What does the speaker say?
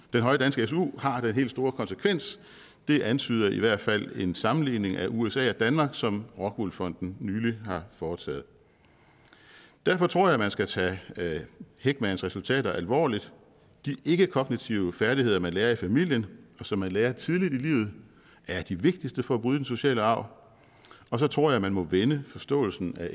den høje danske su har den helt store konsekvens det antyder i hvert fald en sammenligning af usa og danmark som rockwool fonden nylig har foretaget derfor tror jeg at man skal tage heckmans resultater alvorligt de ikkekognitive færdigheder man lærer i familien og som man lærer tidligt i livet at de vigtigste for at bryde den negative sociale arv og så tror jeg at man må vende forståelsen af